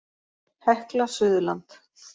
Hekla Suðurland.